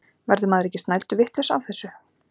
Verður maður ekki snælduvitlaus af þessu?